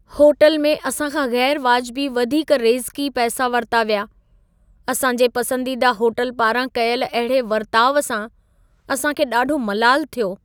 Hotel में असां खां ग़ैरु वाजिबी वधीक रेज़िकी पैसा वरिता विया। असां जे पसंदीदा होटल पारां कयल अहिड़े वर्ताउ सां असां खे ॾाढो मलालु थियो।